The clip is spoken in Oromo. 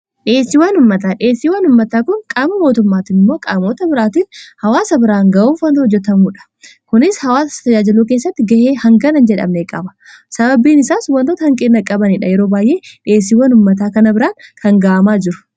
Dhiyeessiiwwan uummataa:Dhiyeessiiwwan uummataa kun qaama mootummaatiin immoo qaamota biraatiin hawaasa biraan ga'uuf waanta hojjetamudha. Kunis hawaasa tajaajiluu keessatti ga'ee hangana hinjedhamne qaba. Sababbiin isaas waantota hanqina qabanidha. Yeroo baay'ee dhiyeessiiwwan uummataa kana biraan kan ga'amaa jiru.